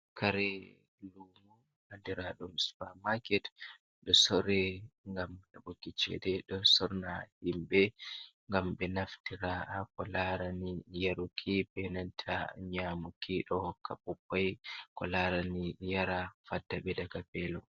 Kare lumo adira ɗum sfermarket, do sore gam hebuki cede, sorana himbe ngam be naftira, kolarani yaruki, benanta nyamuki, ɗo hokka ɓukkoi kularani yara faddaɓe daga velo.